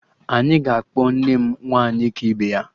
Anyị ga-akpọ nne m 'Nwaanyị ka ibe ya'